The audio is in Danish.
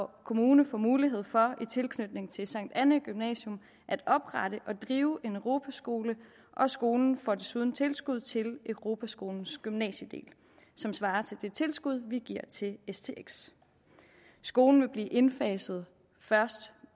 kommune får mulighed for i tilknytning til sankt annæ gymnasium at oprette og drive en europaskole og skolen får desuden tilskud til europaskolens gymnasiedel som svarer til det tilskud vi giver til stx skolen vil blive indfaset først